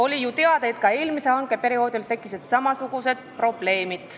Oli ju teada, et ka eelmisel hankeperioodil tekkisid samasugused probleemid.